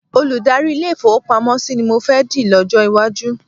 Olùdarí ilé-ìfowópamọ́sí ni mọ fẹ́ di lọ́jọ́ iwájú.